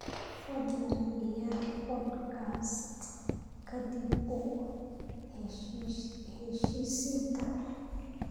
fadlan ciyaar podcast-ka dib-u-heshiisiinta